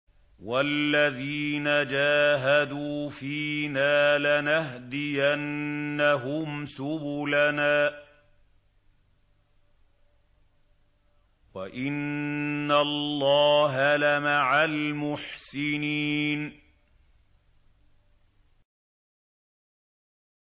وَالَّذِينَ جَاهَدُوا فِينَا لَنَهْدِيَنَّهُمْ سُبُلَنَا ۚ وَإِنَّ اللَّهَ لَمَعَ الْمُحْسِنِينَ